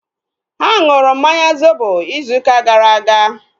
Ha nụrụ mmanya zobo izu ụka gara aga